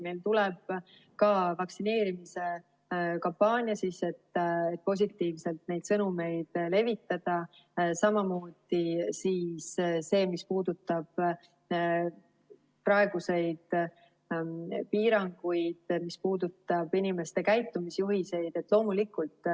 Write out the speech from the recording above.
Meil tuleb ka vaktsineerimise kampaania, et positiivseid sõnumeid levitada, samuti see, mis puudutab praeguseid piiranguid ja mis puudutab inimeste käitumisjuhiseid.